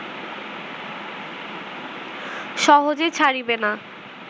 সহজে ছাড়িবে না